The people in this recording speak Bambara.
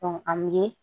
an bɛ